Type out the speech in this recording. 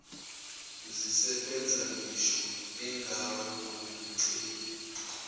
zisebenza ngisho ungangumceli